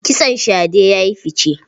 Kitson shade ya yi fice.